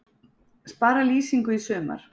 Spara lýsingu í sumar